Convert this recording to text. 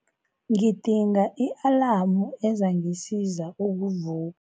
Ngidinga i-alamu ezangisiza ukuvu